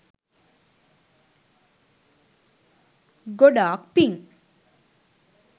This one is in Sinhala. ගොඩාක් පිං